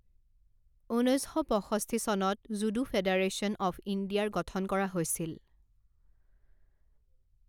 ঊনৈছ শ পঁষষ্ঠি চনত জুডো ফেডাৰেশ্যন অফ ইণ্ডিয়াৰ গঠন কৰা হৈছিল।